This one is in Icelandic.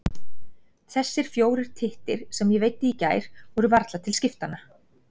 Þessir fjórir tittir, sem ég veiddi í gær, voru varla til skiptanna.